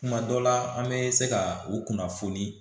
Kuma dɔ la an bɛ se ka u kunnafoni